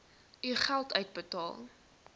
u geld uitbetaal